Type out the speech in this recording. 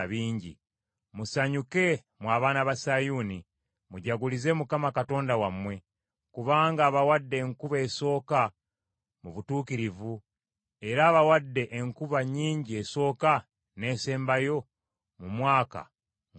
Musanyuke mmwe abaana ba Sayuuni; mujagulize Mukama Katonda wammwe. Kubanga abawadde enkuba esooka mu butuukirivu. Era abawadde enkuba nnyingi esooka n’esembayo mu mwaka ng’obw’edda.